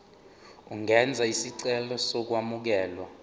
ungenza isicelo sokwamukelwa